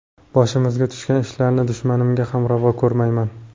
Boshimizga tushgan ishlarni dushmanimga ham ravo ko‘rmayman.